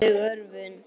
Andleg örvun.